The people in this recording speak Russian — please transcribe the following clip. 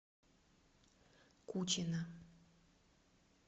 кучина